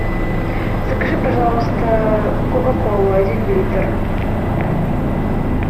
закажи пожалуйста кока колу один литр